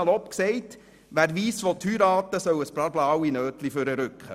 Salopp gesagt: Wer weiss heiraten will, soll ein paar blaue Scheine zücken.